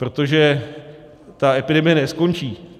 Protože ta epidemie neskončí.